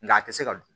Nga a tɛ se ka dun